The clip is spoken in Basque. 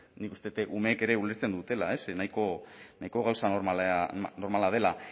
nik uste dut umeek ere ulertzen dutela ez nahiko gauza normala dela